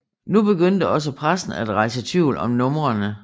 Nu begyndte også pressen at rejse tvivl om numrene